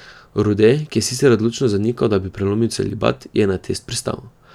Rode, ki je sicer odločno zanikal, da bi prelomil celibat, je na test pristal.